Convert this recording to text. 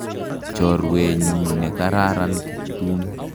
Chorwennyu ne kararan Kiptum.